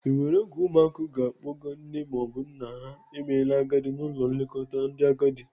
E nwere oge ụmụ na-akpọga nne maọbụ nna ha na-emela agadi n'ụlọ nlekọta ndị agadi.